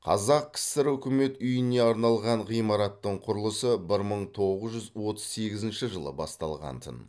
қазақ кср үкімет үйіне арналған ғимараттың құрылысы бір мың тоғыз жүз отыз сегізінші жылы басталғантын